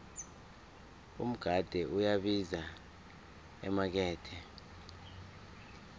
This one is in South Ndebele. umgade uyabiza emakethe